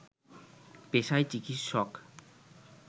পেশায় চিকিৎসক